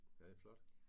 Ja det flot